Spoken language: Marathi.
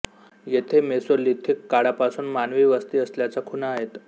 येथे मेसोलिथिक काळापासून मानवी वस्ती असल्याच्या खुणा आहेत